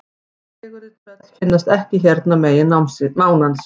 Fegurri tröll finnast ekki hérna megin mánans.